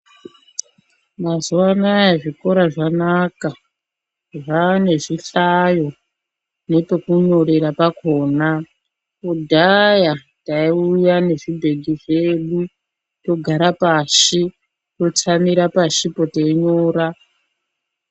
Mazuva anaya zvikora zvanaka, zvane zvihlayo nepekunyorera pakona. Kudhaya taiuya nezvibhegi zvedu togara pashi, totsamira pashipo teinyora.